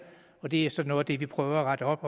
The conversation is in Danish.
og det er så noget af det vi prøver at rette op